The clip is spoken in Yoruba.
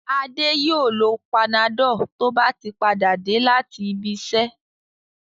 Adé yóò lo Panadol tó bá padà dé láti ibiṣẹ́.